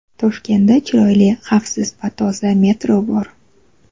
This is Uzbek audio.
Toshkentda chiroyli, xavfsiz va toza metro bor.